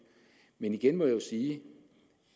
men igen må jeg sige